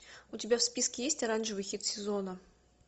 у тебя в списке есть оранжевый хит сезона